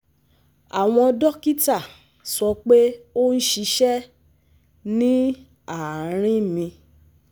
Àwọn dókítà sọ pé ó ń ṣíṣe ní àárín mi